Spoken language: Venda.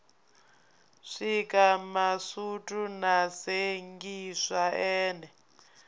swika masutu a sengiswa ene